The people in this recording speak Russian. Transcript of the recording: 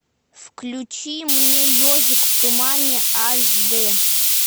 включи мне ежик в тумане аш дэ